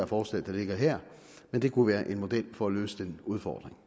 forslag der ligger her men det kunne være en model for at løse den udfordring